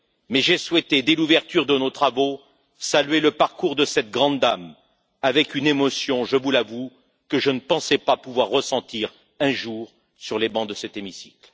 mais j'ai souhaité, dès l'ouverture de nos travaux, saluer le parcours de cette grande dame avec une émotion, je vous l'avoue, que je ne pensais pas pouvoir ressentir un jour sur les bancs de cet hémicycle.